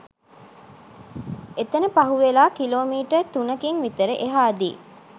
එතන පහුවෙලා kilometre තුනකින් විතර එහාදී